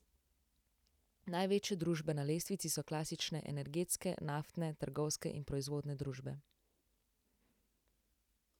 Največje družbe na lestvici so klasične energetske, naftne, trgovske in proizvodne družbe.